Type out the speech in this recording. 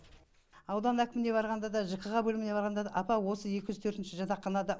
аудан әкіміне барғанда да жкха бөліміне барғанда да апа осы екі жүз төртінші жатақханада